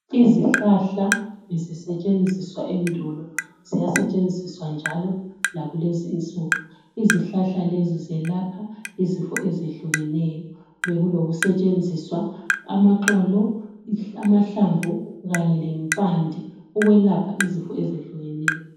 Izihlahla ezisetshenziswa endolo ziyasetshenziswa njalo lakulezinsuku izihlahla lezi izilapha izifo ezehlukeneyo bekuloku setshenziswa amaxolo amahlamvu kanye lempande ukwelapha izifo ezehlukeneyo.